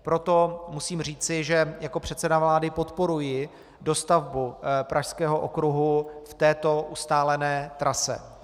Proto musím říci, že jako předseda vlády podporuji dostavbu Pražského okruhu v této ustálené trase.